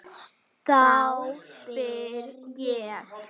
Þá spyr ég.